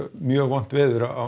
mjög vont veður á